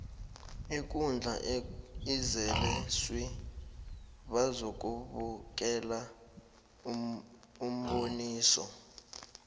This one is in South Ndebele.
ikundla izele swi bazokubukela umboniso